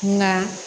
Nka